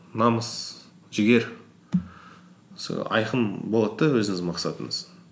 намыс жігер айқын болады да өзіңіздің мақсатыңыз